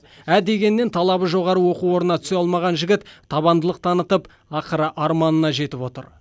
ә дегеннен талабы жоғары оқу орнына түсе алмаған жігіт табандылық танытып ақыры арманына жетіп отыр